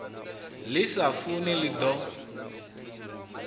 ḽi sa funi ḽi ḓo